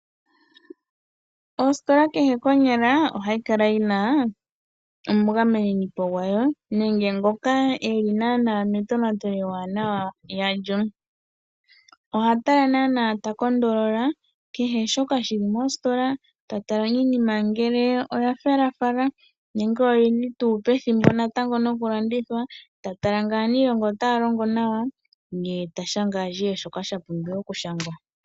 Ositola kehe konyala ohayi kala yina omugameninipo gwayo nenge ngoka eli naana metonatelo ewanawa yalyo, oha tala naana nawa takondolola kehe shoka shili mositola tatala iinima ngele oyafelafala nenge oyili tuu pethimbo natango nokulandithwa, tatala ngele aaniilonga otaya longo nawa ye tashanga ashihe shoka shapumbiwa okushangwa.